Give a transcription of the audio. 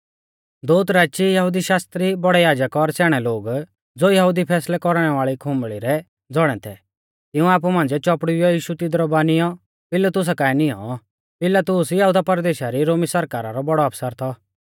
दोउत राची यहुदी शास्त्री बौड़ै याजक और स्याणै लोग ज़ो यहुदी फैसलै कौरणै वाल़ी खुंबल़ी रै ज़ौणै थै तिंउऐ आपु मांझ़िऐ चौपड़ुइयौ यीशु तिदरु बानियौ पिलातुसा काऐ नियौं पिलातुस यहुदा परदेशा दी रोमी सरकारा रौ बौड़ौ आफसर थौ